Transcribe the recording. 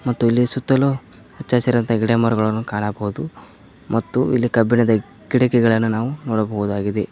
ಮತ್ತು ಇಲ್ಲಿ ಸುತ್ತಲೂ ಹಚ್ಚ ಹಸಿರಂತ ಗಿಡ ಮರಗಳನು ಕಾಣಬಹುದು ಮತ್ತು ಇಲ್ಲಿ ಕಬ್ಬಿಣದ ಕಿಡಕಿಗಳನು ನಾವು ನೋಡಬಹುದಾಗಿದೆ.